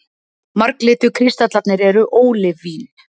Marglitu kristallarnir eru ólívín.